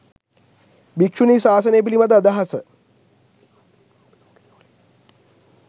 භික්‍ෂුණී ශාසනය පිළිබඳ අදහස